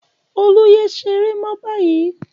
Olú yé ṣeré mọ́ báyìí!